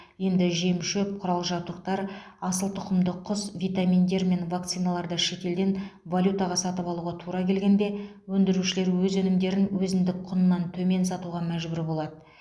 енді жем шөп құрал жабдықтар асыл тұқымды құс витаминдер мен вакциналарды шетелден валютаға сатып алуға тура келгенде өндірушілер өз өнімдерін өзіндік құнынан төмен сатуға мәжбүр болады